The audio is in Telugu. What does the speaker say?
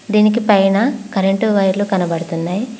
దీనికి పైన కరెంటు వైర్లు కనబడుతున్నాయి.